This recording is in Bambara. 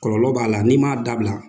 Kɔlɔlɔ b'a la n'i m'a dabila